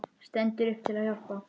Stendur upp til að hjálpa.